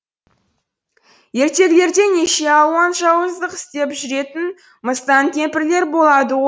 ертегілерде неше алуан жауыздық істеп жүретін мыстан кемпірлер болады